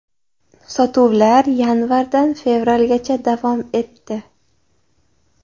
Sotuvlar yanvardan fevralgacha davom etdi.